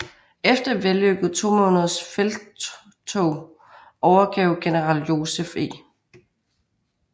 Efter et vellykket to måneders felttog overgav general Joseph E